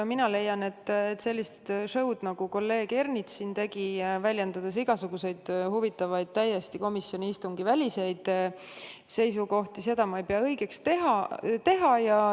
Mina leian, et sellist show'd, nagu kolleeg Ernits tegi, väljendades igasuguseid huvitavaid, täiesti komisjoni istungi väliseid seisukohti, ei pea ma õigeks.